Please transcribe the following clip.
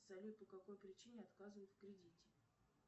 салют по какой причине отказывают в кредите